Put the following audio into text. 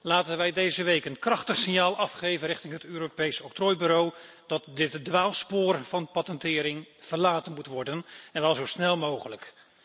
Laten wij deze week een krachtig signaal afgeven richting het Europees Octrooibureau, dat dit dwaalspoor van patentering verlaten moet worden, en wel zo snel mogelijk.